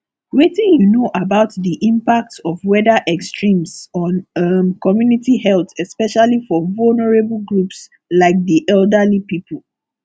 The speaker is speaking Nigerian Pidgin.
wetin you know about di impact of weather extremes on um community health especially for vulnerable groups like di elderly people